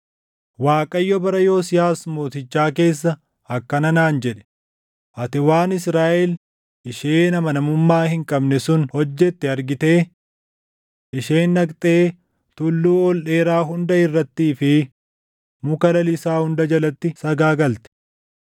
Waaqayyo bara Yosiyaas Mootichaa keessa akkana naan jedhe; “Ati waan Israaʼel isheen amanamummaa hin qabne sun hojjette argitee? Isheen dhaqxee tulluu ol dheeraa hunda irrattii fi muka lalisaa hunda jalatti sagaagalte.